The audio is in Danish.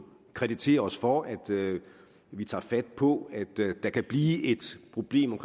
kreditere os for at vi tager fat på at der kan blive et problem